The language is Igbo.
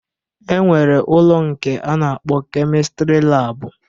E nwere ụlọ nke a na-akpọ kemịstrị laabụ